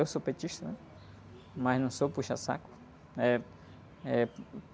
Eu sou petista, né? Mas não sou puxa-saco. Eh, eh...